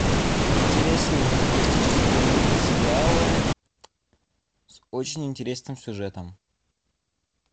интересные фантастические мультсериалы с очень интересным сюжетом